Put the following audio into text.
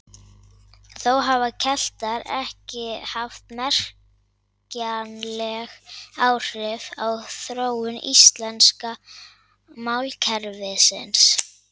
Þó hafa Keltar ekki haft merkjanleg áhrif á þróun íslenska málkerfisins.